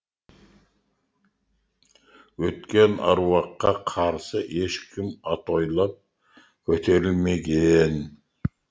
өткен аруаққа қарсы ешкім атойлап көтерілмеген